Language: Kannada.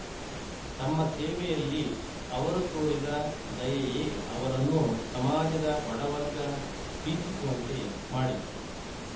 ತಮ್ಮ ಸೇವೆಯಲ್ಲಿ ಅವರು ತೋರಿದ ದಯೆಯೇ ಅವರನ್ನು ಸಮಾಜದ ಬಡವರ್ಗ ಪ್ರೀತಿಸುವಂತೆ ಮಾಡಿತು